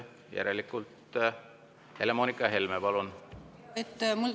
Helle-Moonika Helme, palun!